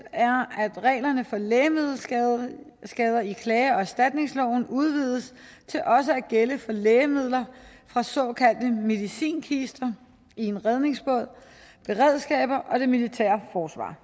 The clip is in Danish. er at reglerne for lægemiddelskader i klage og erstatningsloven udvides til også at gælde for lægemidler fra såkaldte medicinkister i en redningsbåd beredskaber og det militære forsvar